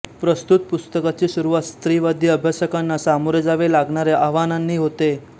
प्रस्तुत पुस्तकाची सुरुवात स्त्रीवादी अभ्यासकांना सामोरे जावे लागणाऱ्या आव्हानांनी होते